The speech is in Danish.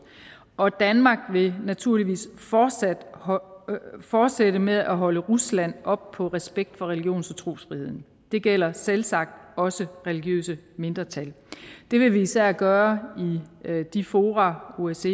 og danmark vil naturligvis fortsætte fortsætte med at holde rusland op på respekt for religions og trosfriheden det gælder selvsagt også religiøse mindretal det vil vi især gøre i de fora osce